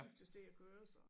Skiftes til at køre så